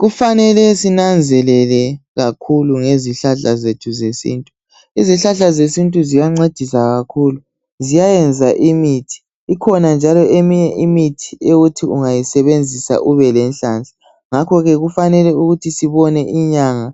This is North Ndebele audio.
Kufanele sinanzelele kakhulu ngezihlahla zethu zesintu. Izihlahla zesintu ziyancedisa kakhulu ziyayenza imithi. Ikhona njalo eminye imithi ethi ungayisebenzisa ubelenhlanhla ngakho ke kufanele sibone inyanga